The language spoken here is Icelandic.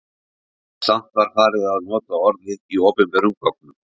Samt var farið að nota orðið í opinberum gögnum.